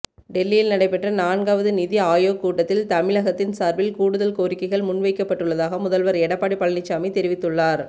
டெல்லியில் நடைபெற்ற நான்காவது நிதி ஆயோக் கூட்டத்தில் தமிழகத்தின் சார்பில் கூடுதல் கோரிக்கைகள் முன்வைக்கப்பட்டுள்ளதாக முதல்வர் எடப்பாடி பழனிசாமி தெரிவித்துள்ளார்